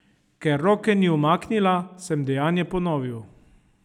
Ker roke ni umaknila, sem dejanje ponovil.